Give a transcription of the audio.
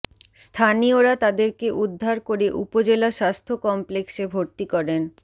স্থানীয়রা তাদেরকে উদ্ধার করে উপজেলা স্বাস্থ্য কমপ্লেক্সে ভর্তি করেন